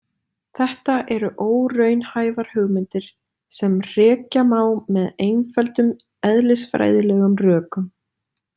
Þetta eru óraunhæfar hugmyndir sem hrekja má með einföldum eðlisfræðilegum rökum.